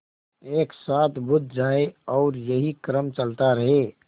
एक साथ बुझ जाएँ और यही क्रम चलता रहे